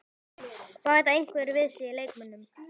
Bæta einhverjir við sig leikmönnum?